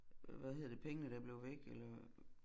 Hvad hedder det pengene der blev væk eller